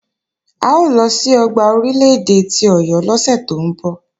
A ó lọ sí ọgbà Orílè-èdè ti Ọ̀yọ́ lọ́sẹ̀ tó ń bọ̀.